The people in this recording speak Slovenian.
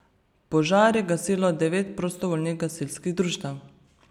Požar je gasilo devet prostovoljnih gasilskih društev.